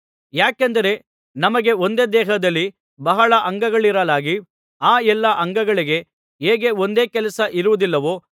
ಯಾಕೆಂದರೆ ನಮಗೆ ಒಂದೇ ದೇಹದಲ್ಲಿ ಬಹಳ ಅಂಗಗಳಿರಲಾಗಿ ಆ ಎಲ್ಲಾ ಅಂಗಗಳಿಗೆ ಹೇಗೆ ಒಂದೇ ಕೆಲಸ ಇರುವುದಿಲ್ಲವೋ